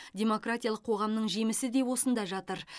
демократиялық қоғамның жемісі де осында жатыр